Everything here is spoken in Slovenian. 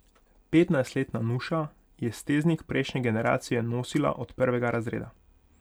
Petnajstletna Nuša je steznik prejšnje generacije nosila od prvega razreda.